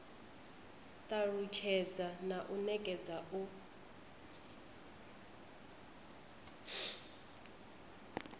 talusthedza na u nekedza u